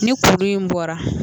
Ni kuru in bɔra